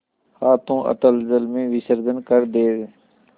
हाथों अतल जल में विसर्जन कर दे